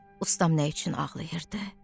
Ustam nə üçün ağlayırdı?